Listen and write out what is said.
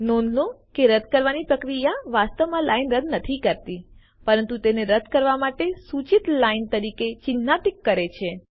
નોંધ લો કે રદ્દ કરવાની પ્રક્રિયા વાસ્તવમાં લાઈન રદ્દ નથી કરતી પરંતુ તેને રદ્દ કરવા માટેની સૂચિત લાઈન તરીકે ચીન્હાન્કિત કરે છે